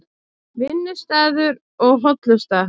Vinnustaður og hollusta